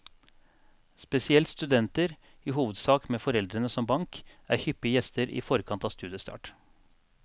Spesielt studenter, i hovedsak med foreldrene som bank, er hyppige gjester i forkant av studiestart.